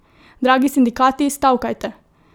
Dragi sindikati, stavkajte!